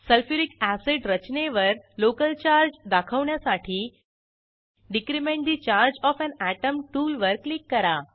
sulphuric acid रचनेवर local charge दाखवण्यासाठी decrement the charge of an atom टूलवर click करा